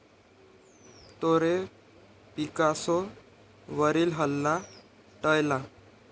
तोरे पिकासो वरील हल्ला टाळला.